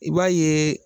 I b'a ye